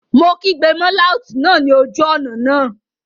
Mo kígbe mọ́ láùtì náà ní ojú ọ̀nà náà